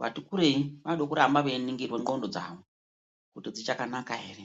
vati kurei. Vanode kuramba veiningirwa ndxondo dzavo kuti dzichakanaka ere.